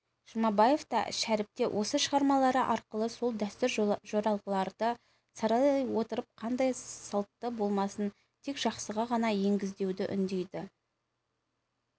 жұмабаев та шәріп те осы шығармалары арқылы сол дәстүр-жоралғыларды саралай отырып қандай салтты болмасын тек жақсыға ғана негіздеуді үндейді